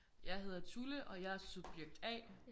Jeg hedder Tulle og jeg er subjekt A